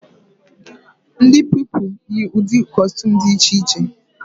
Ndị Pupilụ yi ụdị kọstuum dị iche iche